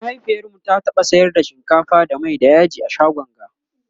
mahaifiyarmu ta taɓa sayar da shinkafa da Mai da yaji a shagon ga